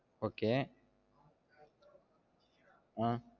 Okay ஆஹ்